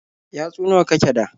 Yatsu nawa kake da?